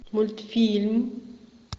мультфильм